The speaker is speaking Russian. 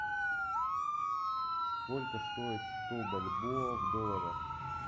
сколько стоит сто бальбоа в долларах